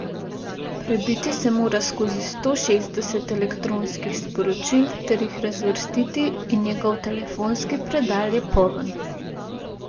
Prebiti se mora skozi sto šestdeset elektronskih sporočil ter jih razvrstiti in njegov telefonski predal je poln.